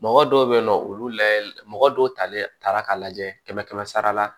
Mɔgɔ dɔw be yen nɔ olu layɛl mɔgɔ dɔw talen taara k'a lajɛ kɛmɛ kɛmɛ sara la